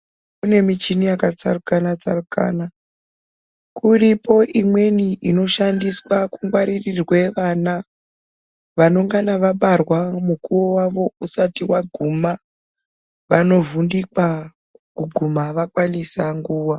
Kune muchini yakatsarukana tsarukana kuripo imweni inoshandiswa kungwaririrwe vana vanongana vabarwa mukuwo wawo usati waguma vanovhundikwa kuguma vakwanisa nguwa.